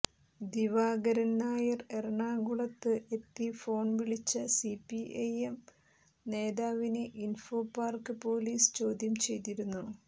ദിവാകരൻ നായർ എറണാകുളത്ത് എത്തി ഫോൺ വിളിച്ച സിപിഐഎം നേതാവിനെ ഇൻഫോപാർക്ക് പൊലീസ് ചോദ്യം ചെയ്തിരുന്നു